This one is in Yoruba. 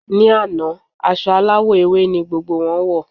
Ní àná, aṣọ aláwọ̀ ewé ni gbogbo wọn wọ̀.